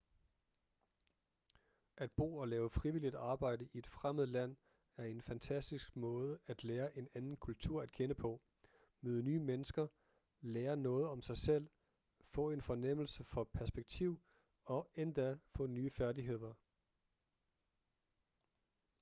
at bo og lave frivilligt arbejde i et fremmed land er en fantastisk måde at lære en anden kultur at kende på møde nye mennesker lære noget om sig selv få en fornemmelse for perspektiv og endda få nye færdigheder